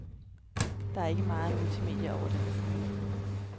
Der er ikke meget multimedie over den maskine.